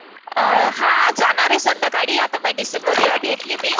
हां जाणार आहे संध्याकाली. आता मेडिसिन वगैरा घेतली मी.